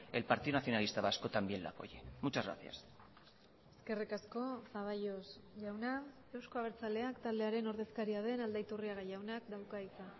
el partido nacionalista vasco también le apoye muchas gracias eskerrik asko zaballos jauna euzko abertzaleak taldearen ordezkaria den aldaiturriaga jaunak dauka hitza